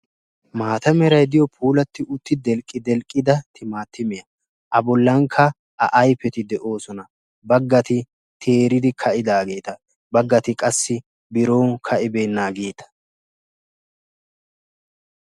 Maatta meray de'iyo delqqidelqqiya timattimmiya. Bagatti qassi ka'idagetta bagatti bagatti ka'ibeennagetta.